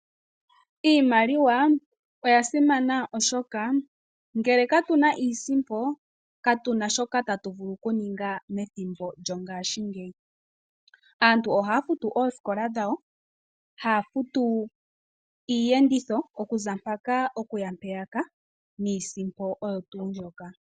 Iimaliwa oya simana oshoka, ngele ka tu na iisimpo, katu na shoka tatu vulu ku ninga methimbo lyongashingeyi. Aantu ohaya futu oosikola dhawo, haya futu iiyenditho okuza mpaka, okuya mpeyaka niisimpo oyo tuu mbyoka.